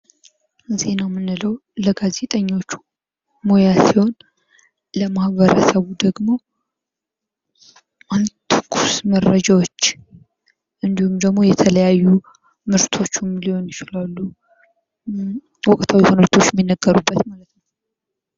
ዜና የምንለው ለጋዜጠኞች ሙያ ሲሆን ለማህበረሰቡ ደግሞ ትኩስ መረጃዎችን እንዲሁም የተለያዩ ምርቶቹን ሊሆኑ ይችላሉ ወቅታዊ ሁነቶች የሚናገሩበት ማለት ነው።